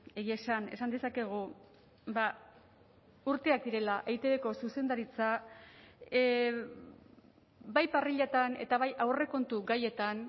egia esan esan dezakegu urteak direla eitbko zuzendaritza bai parriletan eta bai aurrekontu gaietan